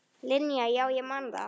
Linja, já ég man það.